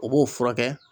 O b'o furakɛ